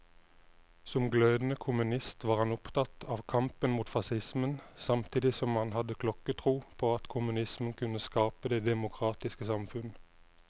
Som glødende kommunist var han opptatt av kampen mot facismen, samtidig som han hadde klokketro på at kommunismen kunne skape det demokratiske samfunn.